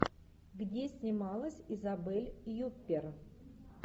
где снималась изабель юппер